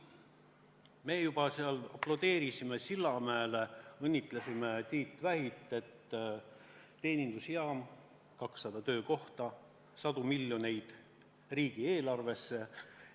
Me juba aplodeerisime Sillamäele, õnnitlesime Tiit Vähit, et tuleb teenindusjaam, 200 töökohta, sadu miljoneid riigieelarvesse.